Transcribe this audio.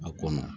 A kɔnɔ